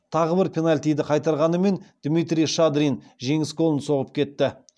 тағы бір пенальтиді қайтарғанымен дмитрий шадрин жеңіс голын соғып кетті